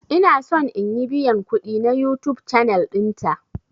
Ina son in yi biyan kudi na YouTube channel dinta.